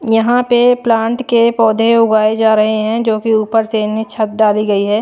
यहां पे प्लांट के पौधे उगाए जा रहे हैं जो कि ऊपर से इन्हें छत डाली गई है।